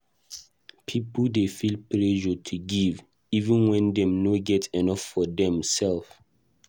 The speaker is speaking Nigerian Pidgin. Pipo dey feel pressure to give, even wen dem no get enough for dem self.